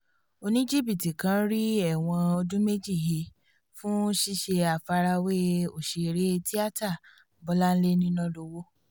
oníjìbìtì kan rí ẹ̀wọ̀n ọdún méjì he fún ṣíṣe àfarawé òṣèré tíáta bọ́láńlé nínàlọ́wọ́